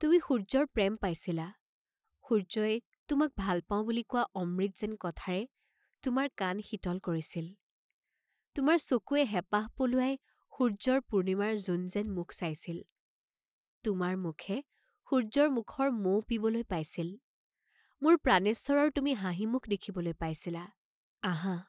তুমি সূৰ্য্যৰ প্ৰেম পাইছিলা, সূৰ্য্যই "তোমাক ভাল পাঁও" বুলি কোৱা অমৃত যেন কথাৰে তোমাৰ কাণ শীতল কৰিছিল, তোমাৰ চকুৱে হেপাহ পলুৱাই সূৰ্য্যৰ পূৰ্ণিমাৰ জোন যেন মুখ চাইছিল, তোমাৰ মুখে সূৰ্য্যৰ মুখৰ মৌ পিবলৈ পাইছিল, মোৰ প্ৰাণেশ্বৰৰ তুমি হাঁহিমুখ দেখিবলৈ পাইছিলা, আহা!